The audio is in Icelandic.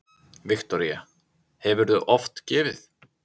Viktoría: Hefurðu oft gefið?